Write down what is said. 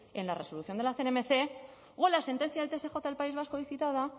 en la resolución de la cnmc o en la sentencia del tsj del país vasco hoy citada